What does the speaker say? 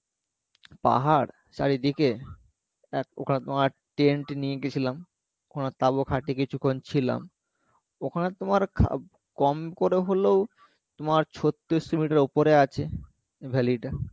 পাহাড় চারিদিকে ওখানে তোমার tent নিয়ে গেছিলাম ওখানে তাবু খাটিয়ে কিছুক্ষণ ছিলাম ওখানে তোমার কম করে হলেও তোমার ছোতিরিশ মিটার উপরে আছে valley টা